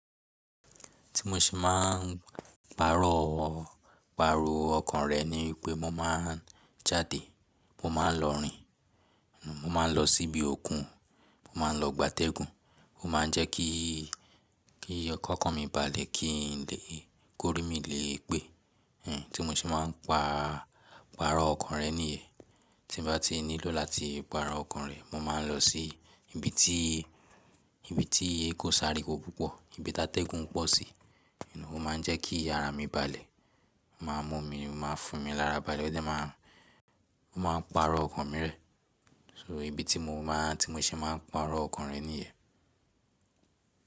Tí mo ṣe máa ń pàrọ̀, pàrọ̀ ọkàn rẹ̀ ni wípé mo máa ń jáde, mo máa ń lọ rìn, mo máa ń lọ síbi òkun, mo máa ń lọ gbátẹ́gùn, ó máa ń jẹ́ kí, kí ọkàn mi balẹ̀, kí lé, kó rí mi lé e pé. Hmm, tí mo ṣe máa ń pàrọ̀ ọkàn rẹ̀ níyen. Tí mo bá ti nílò láti pàrọ̀ ọkàn rẹ̀, mo máa ń lọ sí ibi tí, ibi tí ko sáriwo púpọ̀, ibi tá tẹ́gùn pọ̀ sí. Ó máa ń jẹ́ kí àrá mi balẹ̀, ó máa ń mú mi, ó máa ń fún mi lárábalẹ̀ ó dà máa ń, ó máa ń pàrọ̀ ọkàn mi rẹ. So ìbí tí mo máa, tí mo ṣe máa ń pàrọ̀ ọkàn rẹ̀ níyen.